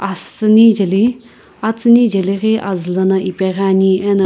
asüni jeli atsüni jeli ghi azü lana ipeghi ani ena--